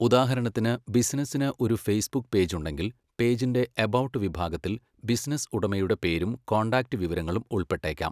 ഉദാഹരണത്തിന്, ബിസിനസ്സിന് ഒരു ഫേസ്ബുക്ക് പേജ് ഉണ്ടെങ്കിൽ, പേജിന്റെ 'എബൌട്ട്' വിഭാഗത്തിൽ ബിസിനസ്സ് ഉടമയുടെ പേരും കോൺടാക്റ്റ് വിവരങ്ങളും ഉൾപ്പെട്ടേക്കാം.